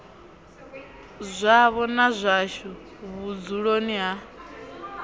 zwavho na zwashu vhudzuloni ha